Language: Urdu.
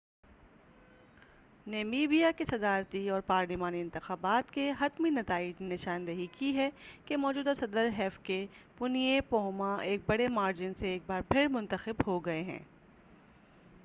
نیمیبیا کے صدارتی اور پارلیمانی انتخابات کے حتمی نتائج نے نشاندہی کی ہے کہ موجودہ صدر ہفیکے پُنئے پوہمبا ایک بڑے مارجن سے ایک بار پھر منتخب ہوگئے ہیں